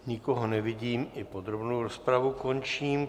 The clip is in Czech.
Nikoho nevidím, i podrobnou rozpravu končím.